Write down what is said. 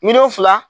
Miliyɔn fila